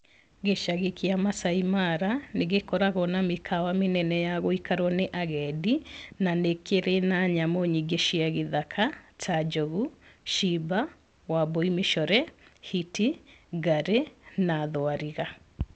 Gĩcagi kia Maasai Mara nĩ gĩkoragwo na mĩkawa mĩnene ya gũikarwo nĩ agendi, na nĩkĩrĩ na nyamũ nyingĩ cia gĩthaka, ta njogu, cimba, wambui mĩcore, hiti ,ngarĩ na thwariga.